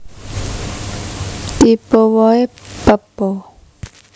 Tipe wohé pepo